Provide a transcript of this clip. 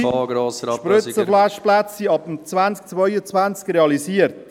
Ab 2022 sind geschlossene Spritzenwaschplätze realisiert.